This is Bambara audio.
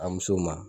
A musow ma